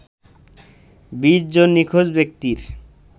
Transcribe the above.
২০ জন নিখোঁজ ব্যক্তির